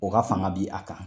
O ka fanga bi a kan.